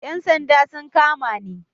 Yan sanda sun kama ni